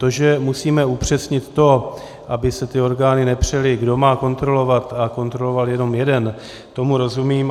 To, že musíme upřesnit to, aby se ty orgány nepřely, kdo má kontrolovat, a kontroloval jenom jeden, tomu rozumím.